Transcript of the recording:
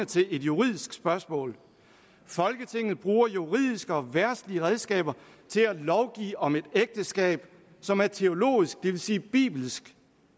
til et juridisk spørgsmål folketinget bruger juridiske og verdslige redskaber til at lovgive om et ægteskab som er teologisk det vil sige bibelsk